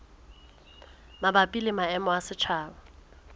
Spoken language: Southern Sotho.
mabapi le maemo a setjhaba